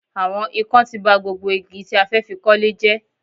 Àwọn ikán ti ba gbogbo igi tí a fẹ́ fi kọ́lé jẹ́